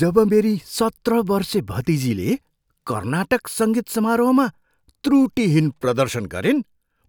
जब मेरी सत्र बर्से भतिजीले कर्नाटक सङ्गीत समारोहमा त्रुटिहीन प्रदर्शन गरिन्,